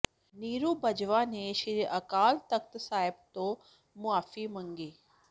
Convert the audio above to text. ਨੀਰੂ ਬਾਜਵਾ ਨੇ ਸ੍ਰੀ ਅਕਾਲ ਤਖ਼ਤ ਸਾਹਿਬ ਤੋਂ ਮੁਆਫੀ ਮੰਗੀ